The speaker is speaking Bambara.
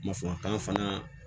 Masɔrɔ kalan